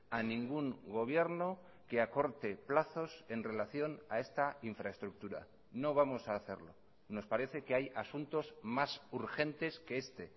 a ningún gobierno que acorte plazos en relación a esta infraestructura no vamos a hacerlo nos parece que hay asuntos más urgentes que este